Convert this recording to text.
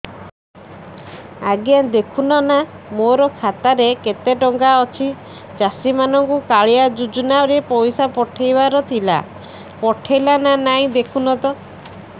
ଆଜ୍ଞା ଦେଖୁନ ନା ମୋର ଖାତାରେ କେତେ ଟଙ୍କା ଅଛି ଚାଷୀ ମାନଙ୍କୁ କାଳିଆ ଯୁଜୁନା ରେ ପଇସା ପଠେଇବାର ଥିଲା ପଠେଇଲା ନା ନାଇଁ ଦେଖୁନ ତ